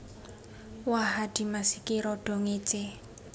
Wah adhimas ki rada ngécé